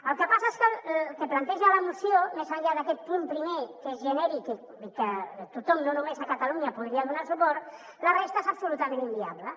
el que passa és que el que planteja la moció més enllà d’aquest punt primer que és genèric i que tothom no només ca·talunya podria donar·hi suport la resta és absolutament inviable